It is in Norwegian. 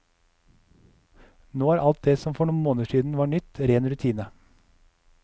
Nå er alt det som for noen måneder siden var nytt, ren rutine.